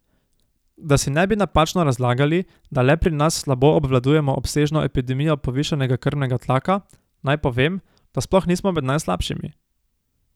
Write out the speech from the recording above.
Da si ne bi napačno razlagali, da le pri nas slabo obvladujemo obsežno epidemijo povišanega krvnega tlaka, naj povem, da sploh nismo med najslabšimi.